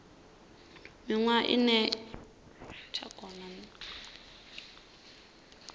miṅwaha ine ya ḓo tevhela